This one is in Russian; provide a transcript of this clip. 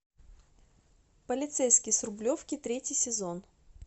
полицейский с рублевки третий сезон